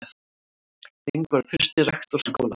Ling var fyrsti rektor skólans.